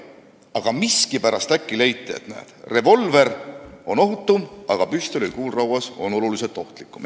Aga miskipärast äkki leiti, et näed, revolver on ohutum, aga kui püstolil on kuul rauas, siis see on oluliselt ohtlikum.